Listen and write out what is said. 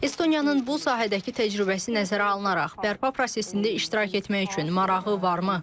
Estoniyanın bu sahədəki təcrübəsi nəzərə alınaraq, bərpa prosesində iştirak etmək üçün marağı varmı?